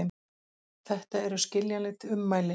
Þetta eru skiljanleg ummæli